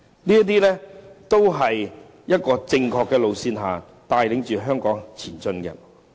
這些都是正確的路線，帶領香港前進。